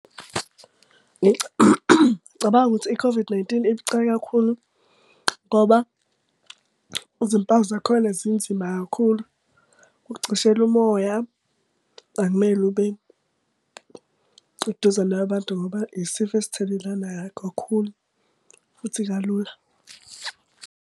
Ngicabanga ukuthi i-COVID-19 ibucayi kakhulu, ngoba izimpawu zakhona zinzima kakhulu. Kucishela umoya akumele ube eduzane kwabantu, ngoba isifo esithelelana kakhulu futhi kalula.